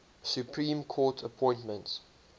supreme court appointments